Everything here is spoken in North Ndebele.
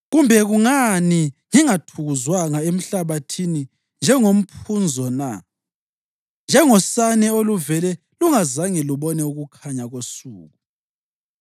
Kumbe kungani ngingathukuzwanga emhlabathini njengomphunzo na, njengosane oluvele lungazange lubone ukukhanya kosuku?